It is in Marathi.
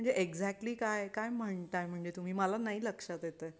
म्हणजे एक्झॅटली काय काय म्हणताय म्हणजे तुम्ही मला नाही लक्षात येत?